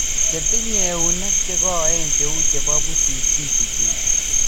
che tinye eunek che koen cheu chebo pusit kechuchuchi